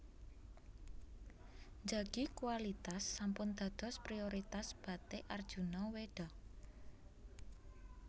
Njagi kualitas sampun dados prioritas Batik Arjuna Weda